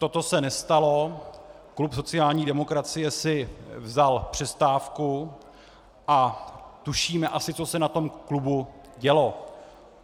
Toto se nestalo, klub sociální demokracie si vzal přestávku a tušíme asi, co se na tom klubu dělo.